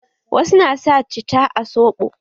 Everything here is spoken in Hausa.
Wasu na sa cita a soɓo.